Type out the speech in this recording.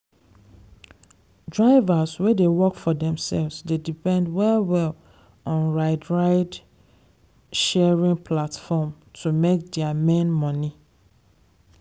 drivers wey dey work for themselves d depend well well on ride ride sharing platform to make their main money.